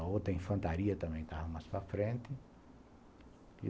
A outra infantaria também estava mais para frente.